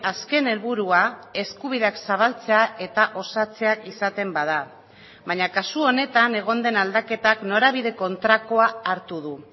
azken helburua eskubideak zabaltzea eta osatzea izaten bada baina kasu honetan egon den aldaketak norabide kontrakoa hartu du